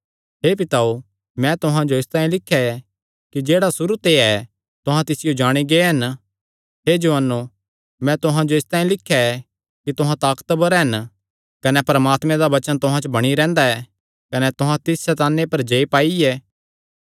हे पिताओ मैं तुहां जो इसतांई लिख्या ऐ कि जेह्ड़ा सुरू ते ऐ तुहां तिसियो जाणी गै हन हे जुआनो मैं तुहां जो इसतांई लिख्या ऐ कि तुहां ताकतवर हन कने परमात्मे दा वचन तुहां च बणी रैंह्दा ऐ कने तुहां तिस सैताने पर जय पाई ऐ